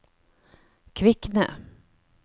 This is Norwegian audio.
Kvikne